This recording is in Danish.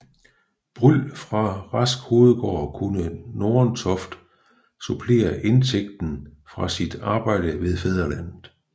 Bryld fra Rask Hovedgård kunne Nordentoft supplere indtægten fra sit arbejde ved Fædrelandet